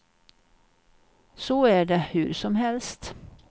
Så är det hur som helst.